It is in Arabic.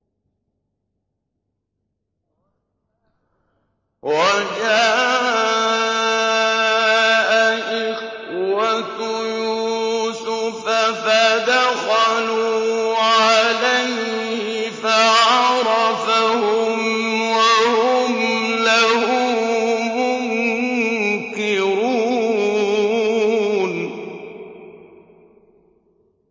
وَجَاءَ إِخْوَةُ يُوسُفَ فَدَخَلُوا عَلَيْهِ فَعَرَفَهُمْ وَهُمْ لَهُ مُنكِرُونَ